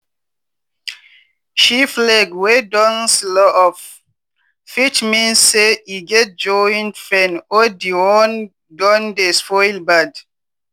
sheep leg wey don swellup fit mean say e get joint pain or di wound don dey spoil bad.